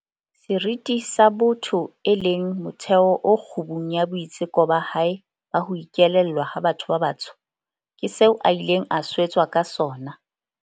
Seriti sa botho, e leng motheo o kgubung ya boitseko ba hae ba ho ikelellwa ha batho ba batsho, ke seo a ileng a swetswa ka sona.